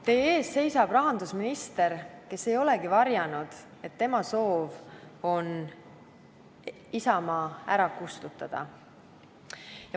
Teie ees seisab rahandusminister, kes ei ole varjanud, et tema soov on Isamaa ära kustutada.